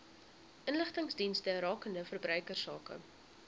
inligtingsdienste rakende verbruikersake